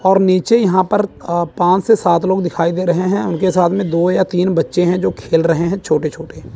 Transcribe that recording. और नीचे यहां पर अ पांच से सात लोग दिखाई दे रहे है उनके साथ में दो या तीन बच्चे है जो खेल रहे है छोटे छोटे--